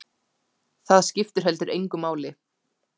Það skipti heldur engu máli.